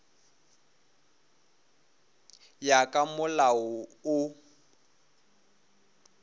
ya ka molao wo o